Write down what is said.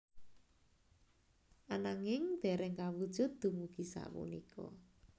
Ananging dereng kawujud dumugi sapunika